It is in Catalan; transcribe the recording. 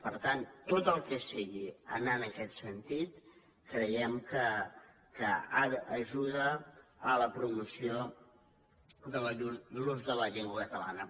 per tant tot el que sigui anar en aquest sentit creiem que ajuda a la promoció de l’ús de la llengua catalana